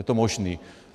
Je to možné.